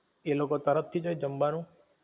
એ લોકો તરફ થી જ હોય જમવાનું?